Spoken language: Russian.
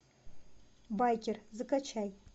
байкер закачай